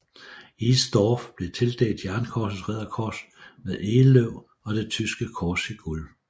East Dorff blev tildelt Jernkorsets Ridderkors med egeløv og det tyske kors i guld